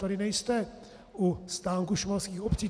Tady nejste u stánku šumavských obcí.